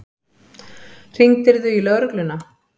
Hringdirðu í lögregluna?